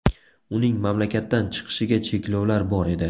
Uning mamlakatdan chiqishiga cheklovlar bor edi.